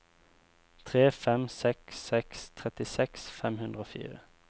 tre fem seks seks trettiseks fem hundre og fire